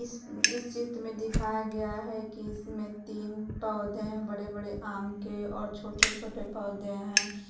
इस इस चित्र में दिखाया गया है कि इसमें तीन पौधे हैं बड़े बड़े आम के और छोटे छोटे पौधे हैं।